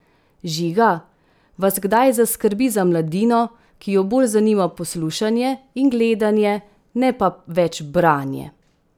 Žiga, vas kdaj zaskrbi za mladino, ki jo bolj zanima poslušanje in gledanje, ne pa več branje?